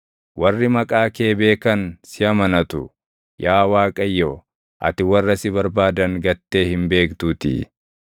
Warri maqaa kee beekan si amanatu; yaa Waaqayyo, ati warra si barbaadan gattee hin beektuutii.